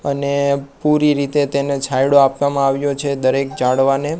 અને પૂરી રીતે તેને છાયડો આપવામાં આવ્યો છે દરેક ઝાડવાને.